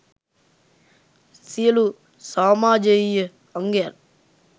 සියළු සමාජයීය අංගයන්